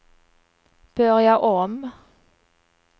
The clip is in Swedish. börja om